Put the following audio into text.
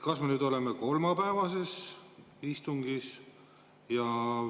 Kas me oleme nüüd kolmapäevases istungis?